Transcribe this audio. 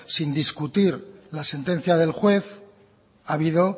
sin discutir la sentencia del juez ha habido